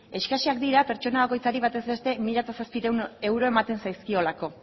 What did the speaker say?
eskasak dira pertsona bakoitzari bataz beste mila zazpiehun euro ematen zaizkiolako